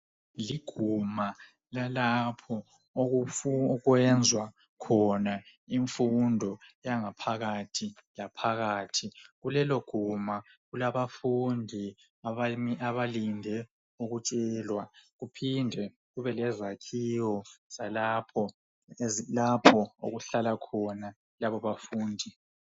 Liguma lalapho okwenzwa khona imfundo yangaphakathi laphakathi kulelo guma kulabafundi abalinde ukutshelwa kuphinde kube lezakhiwo zalapho ezilapho okuhlala khona labo bafundi.